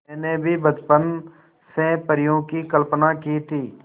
मैंने भी बचपन से परियों की कल्पना की थी